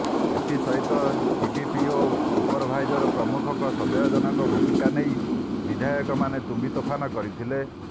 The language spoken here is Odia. ଏଥିସହିତ ସିଡିପିଓ ସୁପରଭାଇଜର ପ୍ରମୁଖଙ୍କ ସନ୍ଦେହଜନକ ଭୂମିକା ନେଇ ବିଧାୟକମାନେ ତମ୍ବିତୋଫାନ କରିଥିଲେ